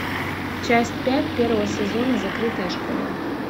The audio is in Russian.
часть пять первого сезона закрытая школа